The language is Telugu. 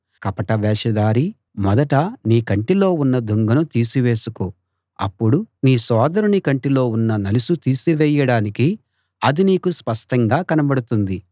కపట వేషధారీ మొదట నీ కంటిలో ఉన్న దుంగను తీసివేసికో అప్పుడు నీ సోదరుని కంటిలో ఉన్న నలుసు తీసివేయడానికి అది నీకు స్పష్టంగా కనబడుతుంది